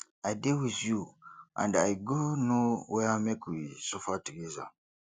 i dey with you and i go no where make we suffer together